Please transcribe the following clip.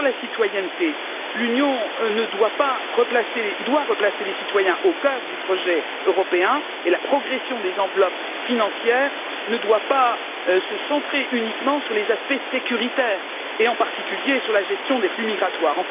Sur la citoyenneté, l'Union doit replacer les citoyens au cœur du projet européen et la progression des enveloppes financières ne doit pas se centrer uniquement sur les aspects sécuritaires, et en particulier sur la gestion des flux migratoires.